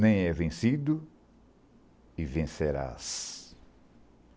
Nem é vencido e vencerás.